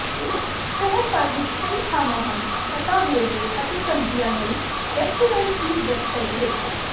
ਸ਼ਹਿਰ ਭਰ ਵਿੱਚ ਕਈ ਥਾਂਵਾਂ ਹਨ ਪਤਾ ਵੇਰਵੇ ਅਤੇ ਘੰਟਿਆਂ ਲਈ ਰੈਸਟੋਰੈਂਟ ਦੀ ਵੈੱਬਸਾਈਟ ਵੇਖੋ